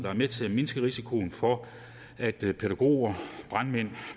er med til at mindske risikoen for at pædagoger brandmænd og